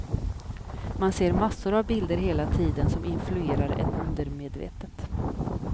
Man ser massor av bilder hela tiden som influerar en undermedvetet.